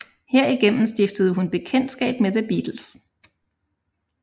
Herigennem stiftede hun bekendtskab med The Beatles